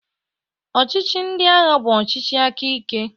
ọchịchị ndị agha bụ ọchịchị aka ike